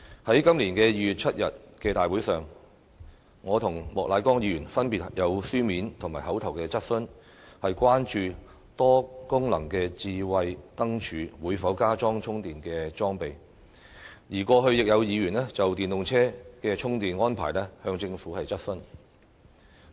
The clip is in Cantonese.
在今年2月7日的大會上，我和莫乃光議員分別提出了書面及口頭質詢，關注多功能智慧燈柱會否加裝充電裝備，而過去亦有議員就電動車的充電安排質詢政府。